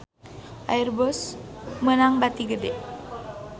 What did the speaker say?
Airbus meunang bati gede